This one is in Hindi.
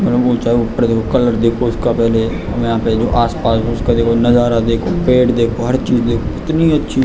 और ऊपर ऊँचा कलर देखो इसका पहले हमें यहाँ पे जो आस-पास उसका देखो नज़ारा देखो पेड़ देखो हर चीज देखो इतनी अच्छी --